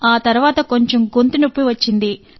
ఆ తరువాత కొంచెం గొంతు నొప్పి వచ్చింది